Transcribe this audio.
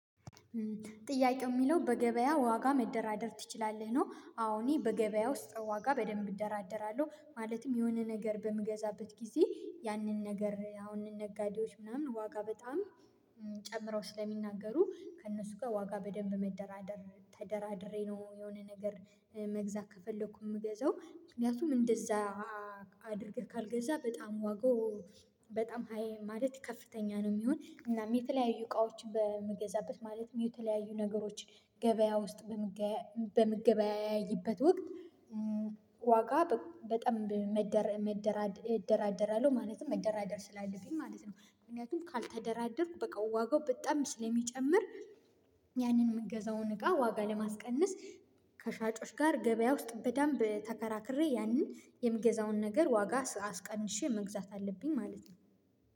ጥያቄው የሚለው በገበያ ዋጋ መደራደር ትችላለህ ነው? አወ እኔ በገበያ ውስጥ ዋጋ በደንብ እደራደራለሁ። ማለትም የሆነ ነገር በምገዛበት ጊዜ ያንን ነገር አሁን ነጋዴዎች ምናምን ዋጋ በጣም ጨምረው ስለሚናገሩ ከእነሱ ጋር ዋጋ በደንብ መደራደር ተደራድሬ ነው የሆነ ነገር መግዛት ከፈለኩ የምገዛው ምክንያቱም እንደዛ አድርገህ ካልገዛ በጣም ዋጋው በጣም ሃይ ማለት ከፍተኛ ነው። የሚሆን እናም የተለያዩ እቃዎች በምገዛበት ማለት የተለያዩ ነገሮች ገበያ ውስጥ በምገበያይበት ወቅት ዋጋ በጣም መደራደር እደራደራለሁ ማለትም መደራደር ስላለብኝ ማለት ነው። ምክንያቱም ካልተደራደርኩ በቃ ዋጋው በጣም ስለሚጨምር ያንን የምገዛውን እቃ ዋጋ ለማስቀንስ ከሻጮች ጋር ገበያ ውስጥ በደንብ ተከራክሬ ያንን የምገዛውን ነገር ዋጋ አስቀንሼ መግዛት አለብኝ ማለት ነው።